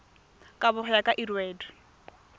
kabo go ya ka lrad